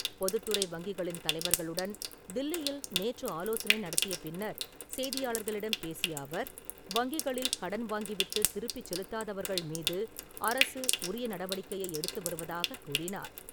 பொதுத்துறை வங்கிகளின் தலைவர்களுடன் தில்லியில் நேற்று ஆலோசனை நடத்திய பின்னர், செய்தியாளர்களிடம் பேசிய அவர், வங்கிகளில் கடன் வாங்கிவிட்டு திருப்பிச் செலுத்தாதவர்கள் மீது அரசு உரிய நடவடிக்கையை எடுத்து வருவதாகக் கூறினார்.